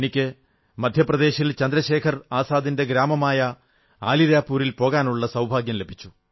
എനിക്ക് മധ്യപ്രദേശിൽ ചന്ദ്രശേഖർ ആസാദിന്റെ ഗ്രാമമായ അലീരാജ്പൂരിൽ പോകാനുള്ള സൌഭാഗ്യം ലഭിച്ചു